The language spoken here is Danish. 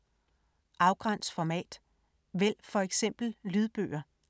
Afgræns format: vælg for eksempel lydbøger